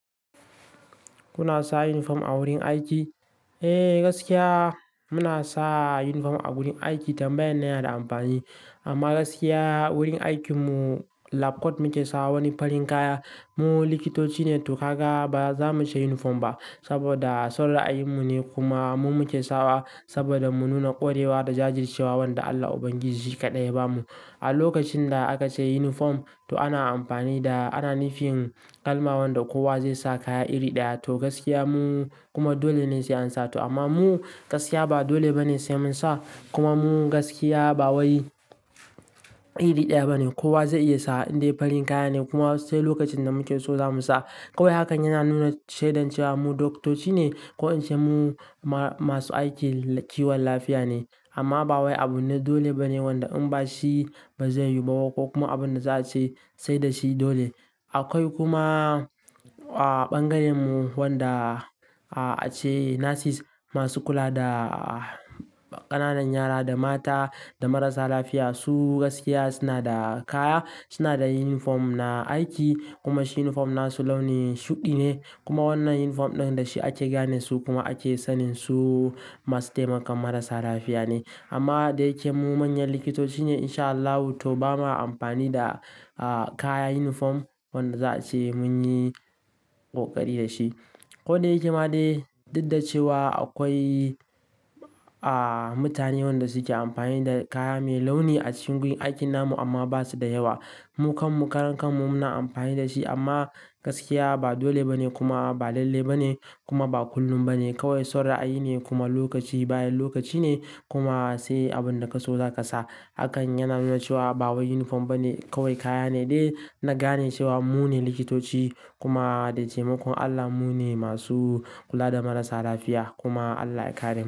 Kuna sa uniform a wurin aiki? Eh gaskiya muna sa uniform a wurin aiki tambayan nan yana da amfani amma gaskiya wurin aikinmu lab coat muke sawa wani farin kaya. Mu likitoci ne to kaga ba za mu sha uniform ba saboda son ra'ayin mu ne kuma mu muke sawa saboda mu nuna ƙwarewa da jajircewa wanda Allah ubangiji kaɗai ya bamu. A lokacin da aka ce uniform to ana amfani da, ana nufin kalma wanda kowa zai sa kaya iri ɗaya to gaskiya mu kuma dole ne sai an sa to amma mu gaskiya ba dole ba ne sai mun sa kuma mu gaskiya ba wai iri ɗaya ba ne kowa zai iya sa in dai farin kaya ne kuma sai lokacin da muke so za mu sa. Kawai hakan yana nuna shedan cewa mu doktoci ne ko in ce mu ma-masu aiki kiwon lafiya ne amma ba wai abun na dole ba ne wanda in ba shi ba zai yiwu ba ko kuma abin da za a ce sai da shi dole. Akwai kuma a bangaren mu wanda a ce nurses masu kula da ƙananan yara da mata da marasa lafiya su gaskiya suna da kaya, suna da uniform na aiki kuma uniform na su launi shuɗi ne kuma wannan uniform ɗin da shi ake gane su kuma ake sanin su masu taimakon marasa lafiya ne. Amma da yake mu manyan likitoci ne in sha Allahu to ba ma amfani da kaya uniform wanda za a ce mun yi ƙoƙari da shi. Ko da yake ma dai, duk da cewa akwai aa mutane wanda su ke amfani da kaya mai launi a cikin wurin aikin namu amma ba su da yawa. Mu kanmu karan kanmu muna amfani da shi amma gaskiya ba dole ba ne kuma ba lalle ba ne kuma ba kullum ba ne kawai son ra'ayi ne kuma lokaci bayan lokaci ne kuma sai abin da ka so za ka sa. Hakan yana nuna cewa ba wai uniform ba ne kawai kaya ne dai na gane cewa mu ne likitoci kuma da taimakon Allah mu ne masu kula da marasa lafiya kuma Allah ya kare.